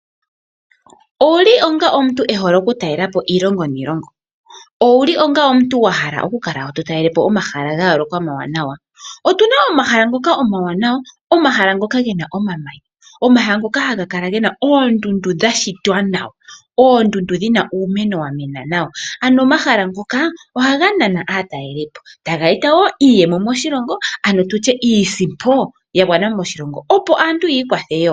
Otuna omahala ngoka omawaanawa, omahala nhoka gena omamanya, omahala ngoka haga kala gena oondundu dhashitwa nawa, oondundu dhina uumeno wamena nawa. Ano omahala nhoka ohaga nana aatalelipo, taya eta woo iiyemo moshilongo ano tutye iisipo yagwana moshilongo opo aantu yiikwathe woo.